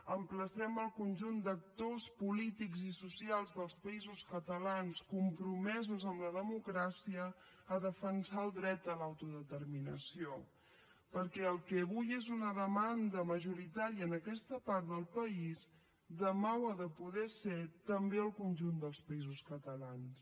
emplacem el conjunt d’actors polítics i socials dels països catalans compromesos amb la democràcia a defensar el dret a l’autodeterminació perquè el que avui és una demanda majoritària en aquesta part del país demà ho ha de poder ser també al conjunt dels països catalans